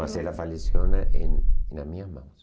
Mas ela faleceu na em em nas minhas mãos.